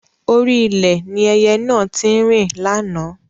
Orí ilẹ̀ ni ẹyẹ náà tí ń rìn láánaà